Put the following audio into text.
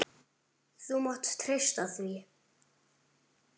Þú mátt treysta því!